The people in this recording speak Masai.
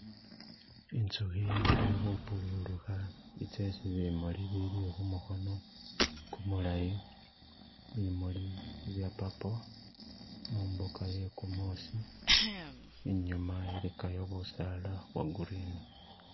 Inzukhi ili khupururukha itse isi bimuli, ibiili khumukhono kumulayi, bimuuli bye purple mumbuka iye kumuusi, inyuma ilikayo busaala bwo green.